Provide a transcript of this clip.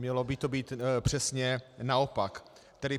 Mělo by to být přesně naopak.